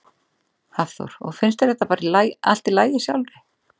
Hafþór: Og finnst þér þetta bara allt í lagi sjálfri?